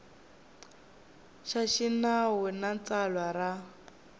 xa xinawu na tsalwa ra